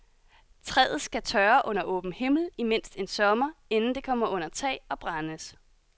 Træet skal tørre under åben himmel i mindst en sommer, inden det kommer under tag og brændes.